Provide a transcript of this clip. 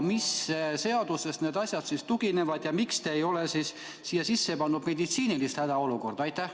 Mis seadusele need asjad tuginevad ja miks te ei ole siia sisse pannud meditsiinilist hädaolukorda?